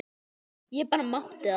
Ég bara mátti það!